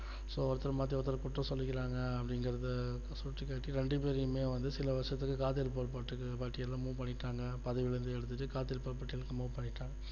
so ஒருத்தர் மாத்தி ஒருத்தர் குற்றம் சொல்லிக்கிறாங்க அப்படிங்கிறத சுட்டிக்காட்டி ரெண்டு பேரையுமே வந்து சில வருஷத்துக்கு காத்திருப்போர் பட்டியல move பண்ணிடாங்க பதவிலஇருந்து எடுத்துட்டு காத்திருப்போர் பட்டியலுக்கு move பண்ணிட்டாங்க